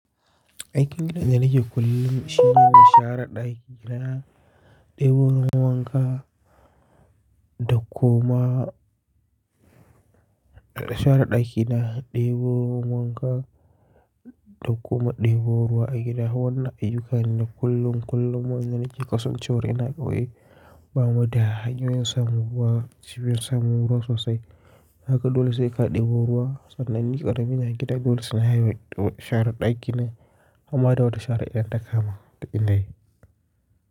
Aikin da na ke kullum shine nashare ɗaki na, ɗebo ruwa wanka, da kuma shara ɗakin gina, ɗebo ruwa wanka, da kuma ɗebo ruwa a gida. Wannan ayyuka ne kullum kullum wayan da nake kasancewa ina kauye ba muda hanyoyin samun ruwa cibiyar samun ruwa sosai. Haka dole sai ka ɗebo ruwa sannan ni ƙarami ne a gida dole sai na yi shara ɗakina amma da wata shara iyaddaka ma duk ina yi.